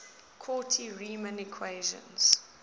cauchy riemann equations